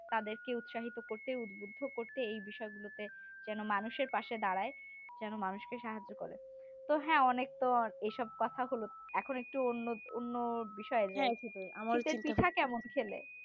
তাদেরকে উৎসাহিত করতে উদ্বুদ্ধ করতে এই বিষয়গুলোতে যেন মানুষের পাশে দাঁড়ায় যেন মানুষকে সাহায্য করে তো হ্যাঁ অনেক তো এইসব কথা হল এখন একটু অন্য অন্য বিষয়ে যাই শীতের পিঠা কেমন খেলে